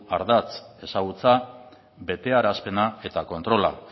ardatz ezagutza betearazpena eta kontrola